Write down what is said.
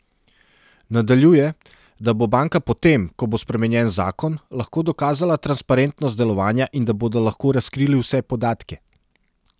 Nadaljuje, da bo banka potem, ko bo spremenjen zakon, lahko dokazala transparentnost delovanja in da bodo lahko razkrili vse podatke.